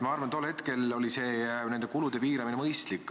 Ma arvan, et tol hetkel oli nende kulude piiramine mõistlik.